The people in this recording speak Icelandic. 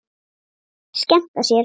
Skemmta sér.